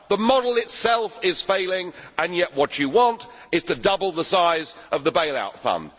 The model itself is failing and yet what you want is to double the size of the bail out fund.